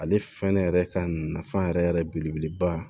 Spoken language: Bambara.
Ale fɛnɛ yɛrɛ ka nafa yɛrɛ yɛrɛ belebeleba